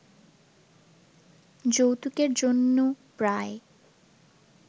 যৌতুকের জন্য প্রায়